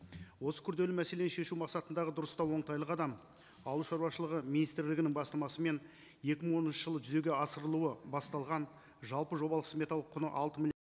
осы күрделі мәселені шешу мақсатындағы дұрыстау оңтайлы қадам аылшаруашылығы министрлігінің бастамасымен екі мың оныншы жылы жүзеге асырылуы басталған жалпы жобалық сметалық құны